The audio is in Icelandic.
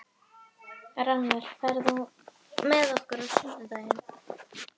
Rannver, ferð þú með okkur á sunnudaginn?